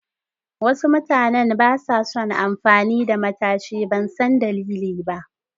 Wasu mutanen basa son amfani da matashi, ban san dalili ba.